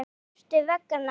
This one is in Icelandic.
Af hverju ertu vegan?